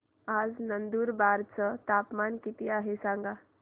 आज नंदुरबार चं तापमान किती आहे सांगा बरं